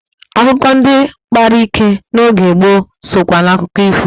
Akukọ ndị kpara ike n'oge gboo sokwa n'akụkọ ifo.